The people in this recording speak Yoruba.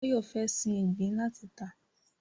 Báyọ̀ fẹ́ sin ìgbín láti tà